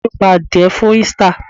Ìyá mi pa adìẹ fún Easter.